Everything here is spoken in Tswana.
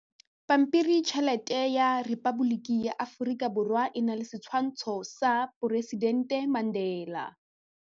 Pampiritšheletê ya Repaboliki ya Aforika Borwa e na le setshwantshô sa poresitentê Mandela.